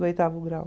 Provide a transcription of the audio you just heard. Do oitavo grau.